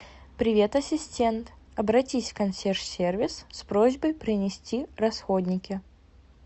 привет ассистент обратись в консьерж сервис с просьбой принести расходники